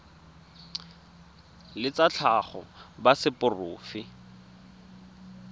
ba tsa tlhago ba seporofe